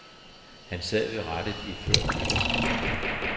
Han sad ved rattet iført nytårshat.